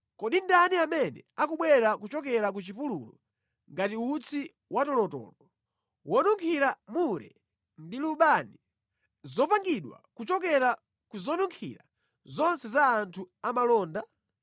Kodi ndani amene akubwera kuchokera ku chipululu ngati utsi watolotolo, wonunkhira mure ndi lubani, zopangidwa kuchokera ku zonunkhira zonse za anthu amalonda?